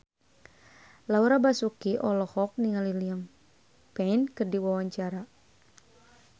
Laura Basuki olohok ningali Liam Payne keur diwawancara